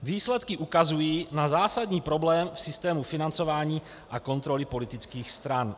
Výsledky ukazují na zásadní problém v systému financování a kontroly politických stran.